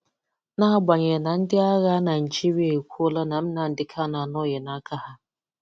N'agbanyeghị na ndị agha Naịjirịa ekwuola na Nnamdi Kanu anọghị n'aka ha.